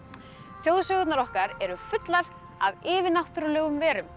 þjóðsögurnar okkar eru fullar af yfirnáttúrulegum verum